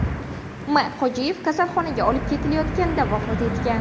M. Hojiyev kasalxonaga olib ketilayotganida vafot etgan.